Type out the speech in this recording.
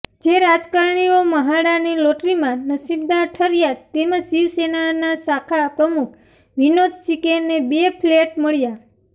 જે રાજકરણીઓ મ્હાડાની લોટરીમાં નસીબદાર ઠર્યા તેમાં શિવસેનાના શાખા પ્રમુખ વિનોદ શિર્કેને બે ફ્લેટ મળ્યા